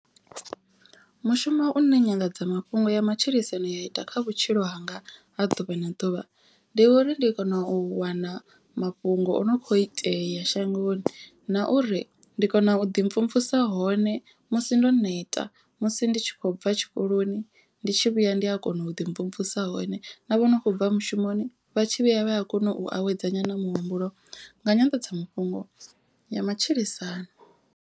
Mushumo une nyanḓadzamafhungo ya matshilisano ya ita kha vhutshilo hanga ha ḓuvha na ḓuvha. Ndi uri ndi kona u wana mafhungo o no kho itea shangoni. Na uri ndi kona u ḓi mvumvusa hone musi ndo neta musi ndi tshi khou bva tshikoloni. Ndi tshi vhuya ndi a kona u ḓi mvumvusa hone. Na vhono khou bva mushumoni vha tshi vhuya vha ya kona u awedza nyana muhumbulo nga nyanḓadzamafhungo ya matshilisano.